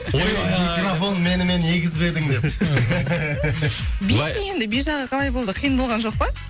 ойбай ай микрофон менімен егіз бе едің деп би ше енді би жағы қалай болды қиын болған жоқ па